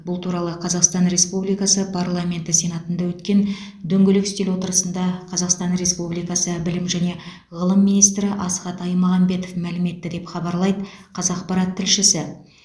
бұл туралы қазақстан республикасы парламенті сенатында өткен дөңгелек үстел отырысында қазақстан республикасы білім және ғылым министрі асхат аймағамбетов мәлім етті деп хабарлайды қазақпарат тілшісі